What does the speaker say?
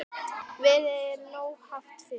Verðið er nógu hátt fyrir.